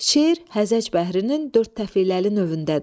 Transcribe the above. Şeir hərəc bəhrinin dörd təfələli növündədir.